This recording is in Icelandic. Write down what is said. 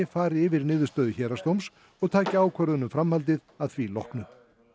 fari yfir niðurstöðu héraðsdóms og taki ákvörðun um framhaldið að því loknu